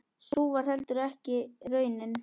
Sú varð heldur ekki raunin.